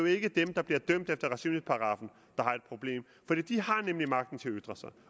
ikke dem der bliver dømt efter racismeparagraffen der har et problem for de har nemlig magten til at ytre sig